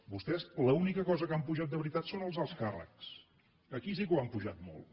vostès l’única cosa que han pujat de veritat són els alts càrrecs aquí sí que ho han pujat molt